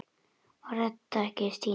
Var þetta ekki Stína?